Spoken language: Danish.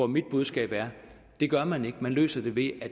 mit budskab er at det gør man ikke man løser det ved